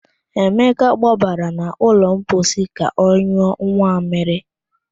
Emeka gbabara n'ụlọ mposi ka ọnyụọ nwammịrị